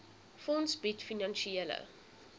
fonds bied finansiële